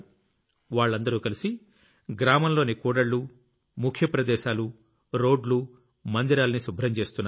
వాళ్లందరూ కలిసి గ్రామంలోని కూడళ్లు ముఖ్య ప్రదేశాలు రోడ్లు మందిరాల్ని శుభ్రం చేస్తున్నారు